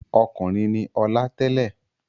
Ọkùnrin ni Ọlá tẹ́lẹ̀.